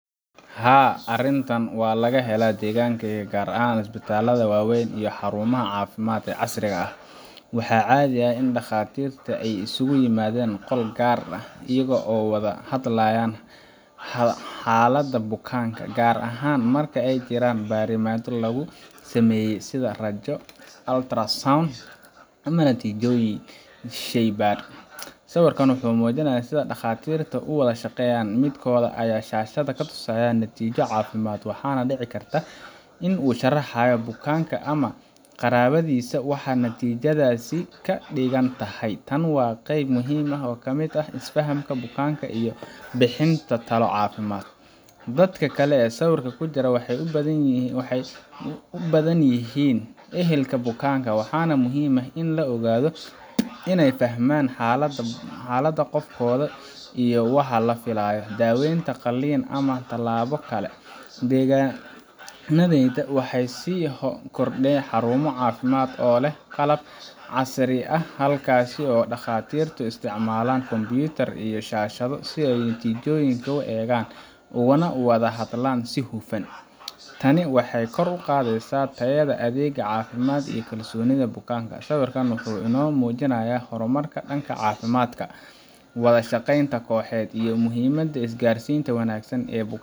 Haa, arrintan waa laga helaa deegaankayga, gaar ahaan isbitaallada waaweyn iyo xarumaha caafimaad ee casriga ah. Waxaa caadi ah in dhakhaatiirta ay isugu yimaadaan qol gaar ah si ay uga wada hadlaan xaaladda bukaanka, gaar ahaan marka ay jiraan baaritaanno lagu sameeyay sida raajo, ultrasound, ama natiijooyin shaybaadh. Sawirka wuxuu muujinayaa sida dhakhaatiirta u wada shaqeeyaan midkood ayaa shaashadda ku tusiaya natiijo caafimaad, waxaana dhici karta in uu u sharxayo bukaanka ama qaraabadiisa waxa natiijadaasi ka dhigan tahay. Tani waa qayb muhiim ah oo ka mid ah isfahamka bukaanka iyo bixinta talo caafimaad. Dadka kale ee sawirka ku jira waxay u badan yihiin ehelka bukaanka, waxaana muhiim ah in loo oggolaado inay fahmaan xaaladda qofkooda iyo waxa la filayo daaweynta, qalliinka, ama tallaabo kale. Deegaannadayada waxaa sii kordhaya xarumo caafimaad oo leh qalab casri ah, halkaas oo dhakhaatiirku isticmaalaan kombiyuutarro iyo shaashado si ay natiijooyinka u eegaan ugana wada hadlaan si hufan. Tani waxay kor u qaadaysaa tayada adeegga caafimaad iyo kalsoonida bukaanka. Sawirkani wuxuu inoo muujinayaa horumarka dhanka caafimaadka, wada shaqaynta kooxeed, iyo muhiimada isgaarsiinta wanaagsan ee